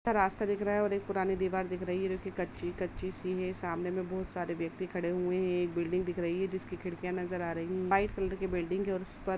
रास्ता दिख रहा है ऑर एक पुरानी दीवार दिख रही है| कच्ची -कच्ची सी सामने मे बहुत सारे से व्यक्ति खड़े हुए है| एक बिल्डिंग दिख रही है जिसमे खिड़किया नजर आ रही है व्हाइट कलर कि बिल्डिंग है और उसपर --